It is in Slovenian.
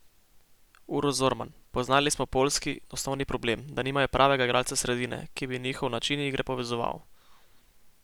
Uroš Zorman: "Poznali smo poljski osnovni problem, da nimajo pravega igralca sredine, ki bi njihov način igre povezoval.